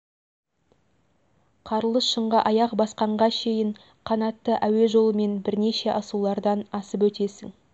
қарлы шыңға аяқ басқанға шейін қанатты әуе жолымен бірнеше асулардан асып өтесің